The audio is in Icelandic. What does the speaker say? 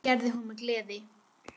Það gerði hún með gleði.